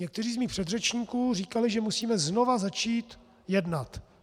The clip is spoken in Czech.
Někteří z mých předřečníků říkali, že musíme znova začít jednat.